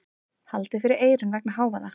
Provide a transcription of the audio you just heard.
Haldið fyrir eyrun vegna hávaða.